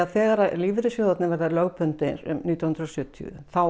þegar lífeyrissjóðirnir verða lögbundnir um nítján hundruð og sjötíu þá